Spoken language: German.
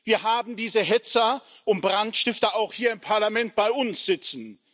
Wir haben diese Hetzer und Brandstifter auch hier im Parlament bei uns sitzen.